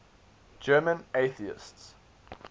german atheists